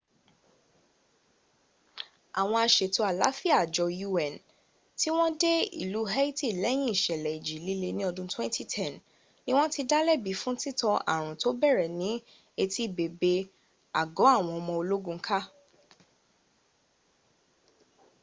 àwọn asètò àlááfíà àjọ un tí wọ́n dé ìlú haiti lẹ́yìn ìsẹ̀lẹ̀ ìjì líle ní ọdún 2010 ni wọ́n ti dá lẹ́bi fún títan ààrùn tó bẹ̀rẹ̀ ní etí bèbè àgọ́ àwọn ọmọ ológun ká